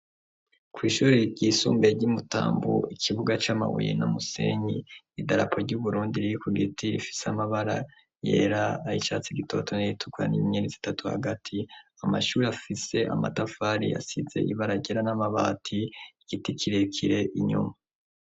Kw'ishure ryisumbuye ryi mutambu hari ikibuga camabuye n'umusenyi, idarapo ry'uburundi riri kugiti rifise amabara yera, ay'icatsi gutoto nay'atukura n'inyenyeri zitatu hagati, amashure afise amatafari asize ibara ryera namabati, igiti kirekire inyuma.